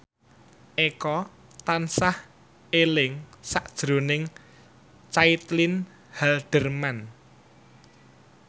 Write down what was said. Eko tansah eling sakjroning Caitlin Halderman